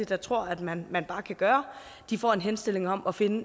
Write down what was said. der tror at man man bare kan gøre de får en henstilling om at finde